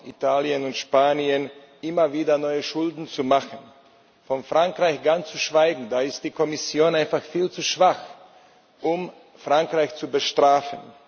Sie Italien und Spanien erlauben, immer wieder neue Schulden zu machen, von Frankreich ganz zu schweigen, da ist die Kommission einfach viel zu schwach, um Frankreich zu bestrafen.